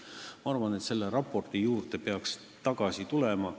Ma arvan, et selle raporti juurde peaks tagasi tulema.